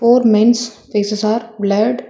Four men's faces are blurred.